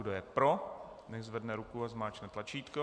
Kdo je pro, nechť zvedne ruku a zmáčkne tlačítko.